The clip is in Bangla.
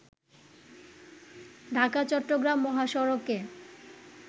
ঢাকা- চট্রগ্রাম মহাসড়কে